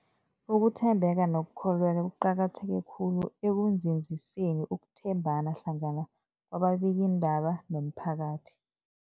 Ukuthembeka nokukholweka kuqakatheke khulu ekunzinziseni ukuthembana hlangana kwababikiindaba nomphakathi.